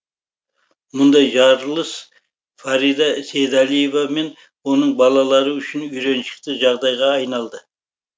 мұндай жарылыс фарида сейдалиева мен оның балалары үшін үйреншікті жағдайға айналды